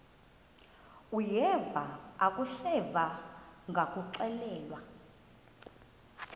uyeva akuseva ngakuxelelwa